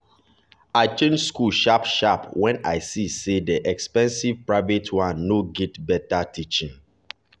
i change school sharp sharp when i see say the expensive private one no get better teaching.